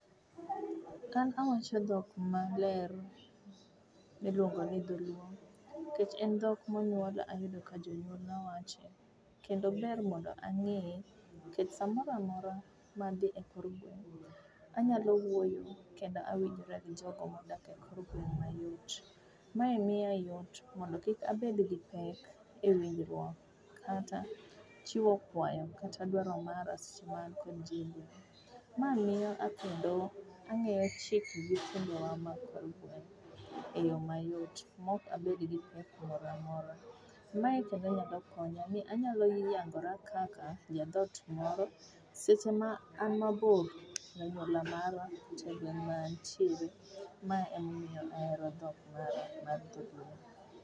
Ka an wacho dhok maler miluongo ni dholuo nikech dhok ma anyuola, ayudo ka jonyuolna wache kendo ber mondo ang'eye nikech sa mora mora ma adhi e kor gweng',anyalo wuoyo kendo awinjora gi jogo modak e kor gweng' mayot. Mae miya yot mondo kik abed gi pek e winjruok kata chiwo kwayo kata dwaro mara seche ma an kod ji i gweng'. Ma miyo ang'eyo chikgi kendo e yo mayot mok abed gi pek mora mora. Mae kendo nyalo konya ni anyalo yangora kaka jadhot moro seche ma an mabor gi anyuola mara e gweng' ma antiere. Ma emomiyo ahero dhok mar dholuo.